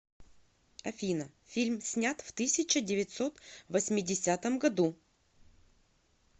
афина фильм снят в тысяча девятьсот восьмидесятом году